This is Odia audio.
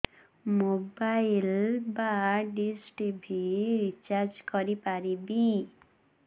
ମୋବାଇଲ୍ ବା ଡିସ୍ ଟିଭି ରିଚାର୍ଜ କରି ପାରିବି